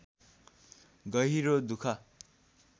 गहिरो दुःख